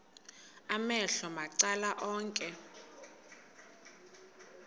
amehlo macala onke